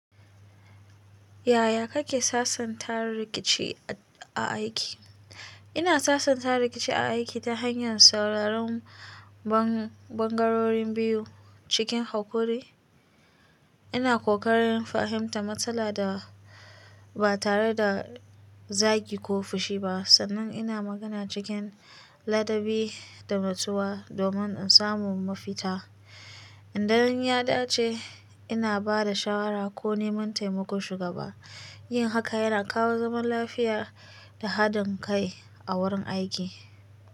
Yaya kake sasanta rikici a aiki? Ina sasanta rikici a aiki ta hanyar sauraron ɓan ɓangarorin biyu cikin haƙuri. Ina ƙoƙarin fahimtar matsala da ba tare da zagi ko fushi ba, sannan ina magana cikin ladabi da nutsuwa domin in samu mafita. In dan ya dace, ina ba da shawara ko neman taimakon shugaba. Yin haka yana kawo zaman lafiya da haɗin kai a wurin aiki.